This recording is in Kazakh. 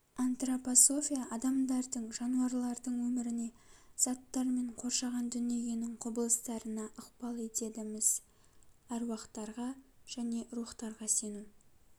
антропософия адамдардың жануарлардың өміріне заттар мен қоршаған дүниенің құбылыстарына ыкпал етеді-міс әруақтарға және рухтарға сену